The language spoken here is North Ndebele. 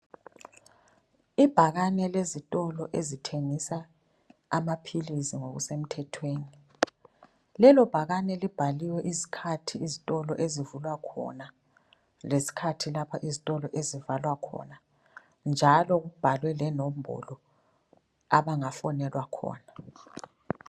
Ibhakane lezitolo ezithengisa amaphilisi ngokuse mthethweni, lelo bhakane libhaliwe izikhathi izitolo ezivulwa khona lezikhathi lapha izitolo ezivalwa khona njalo kubhalwe lenombolo abangafonelwa khona.